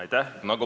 Aitäh!